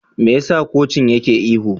Me yasa kocin yake ihu?